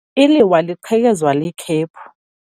Iliwa liqhekezwe likhephu.